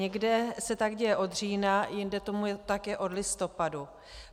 Někde se tak děje od října, jinde tomu tak je od listopadu.